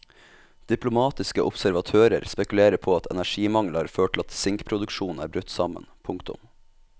Diplomatiske observatører spekulerer på at energimangel har ført til at sinkproduksjonen er brutt sammen. punktum